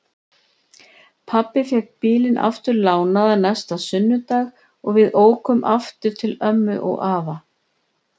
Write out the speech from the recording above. Pabbi fékk bílinn aftur lánaðan næsta sunnudag og við ókum aftur til ömmu og afa.